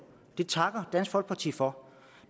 det takker dansk folkeparti for